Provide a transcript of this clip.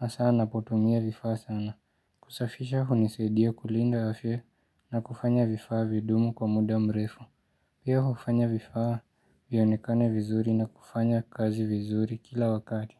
asaa napotumia vifaa sana kusafisha hunisadia kulinda afya na kufanya vifaa vidumu kwa muda mrefu Pia hufanya vifaa vionekane vizuri na kufanya kazi vizuri kila wakati.